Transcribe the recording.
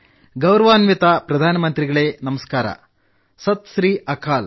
ಗೌರವಾನ್ವಿತ ಪ್ರಧಾನಮಂತ್ರಿಗಳೇ ನಮಸ್ಕಾರ ಸತ್ ಶ್ರೀ ಅಕಾಲ